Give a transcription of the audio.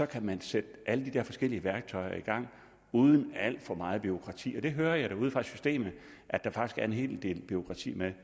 kan sætte alle de der forskellige værktøjer i gang uden alt for meget bureaukrati jeg hører ude fra systemet at der faktisk er en hel del bureaukrati med